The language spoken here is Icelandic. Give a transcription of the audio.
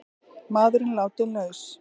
Maðurinn látinn laus